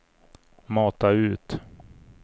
mata ut